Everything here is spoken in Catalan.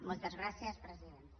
moltes gràcies presidenta